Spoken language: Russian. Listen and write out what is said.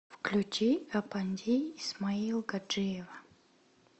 включи апанди исмаилгаджиева